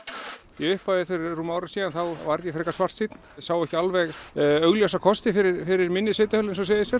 í upphafi fyrir rúmu ári síðan þá var ég frekar svartsýnn sá ekki augljósa kosti fyrir fyrir minni sveitarfélög eins og Seyðisfjörð